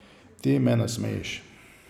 Ti me nasmejiš.